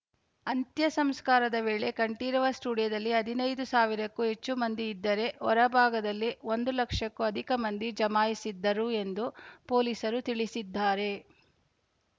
ಅಂತ್ಯ ಸಂಸ್ಕಾರದ ವೇಳೆ ಕಂಠೀರವ ಸ್ಟುಡಿಯೋದಲ್ಲಿ ಹದಿನೈದು ಸಾವಿರಕ್ಕೂ ಹೆಚ್ಚು ಮಂದಿ ಇದ್ದರೆ ಹೊರ ಭಾಗದಲ್ಲಿ ಒಂದು ಲಕ್ಷಕ್ಕೂ ಅಧಿಕ ಮಂದಿ ಜಮಾಯಿಸಿದ್ದರು ಎಂದು ಪೊಲೀಸರು ತಿಳಿಸಿದ್ದಾರೆ